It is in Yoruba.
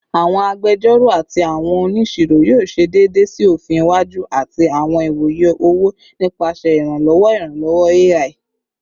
Awọn agbẹjọro ati awọn oniṣiro yoo ṣe deede si ofin iwaju ati awọn iwoye owo nipasẹ iranlọwọ iranlọwọ AI